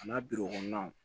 A n'a kɔnɔnaw